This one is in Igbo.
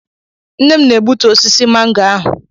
Nne m na-egbutu osisi mango ahụ.